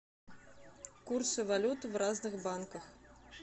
курсы валют в разных банках